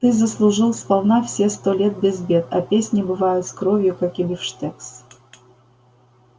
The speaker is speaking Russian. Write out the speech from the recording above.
ты заслужил сполна все сто лет без бед а песни бывают с кровью как и бифштекс